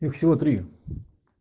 их всего три